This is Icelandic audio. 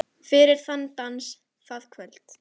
Fyrir þann dans, það kvöld.